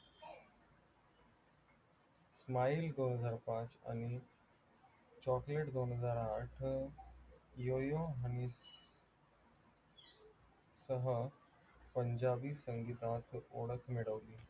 smile दोनहजार पाच आणि chocolate दोनहजार आठ यो यो हनी सह पंजाबी संगीतात ओळख मिळवली.